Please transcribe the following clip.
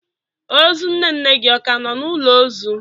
Ozu nne nne gị ọ ka nọ n'ụlọ ozu?